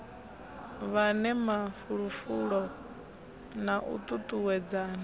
fhane mafulufulo na u tutuwedzana